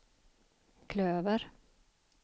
klöver